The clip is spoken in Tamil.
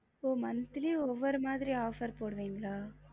monthly ஒவ்வொரு மாதிரி offer போடுவீங்களா